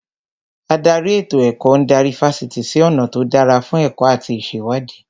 Ádárì ètò ẹ̀kọ́ ń darí Fásitì sí ọ̀nà tó dára fún ẹ̀kọ́ àti ìṣèwádìí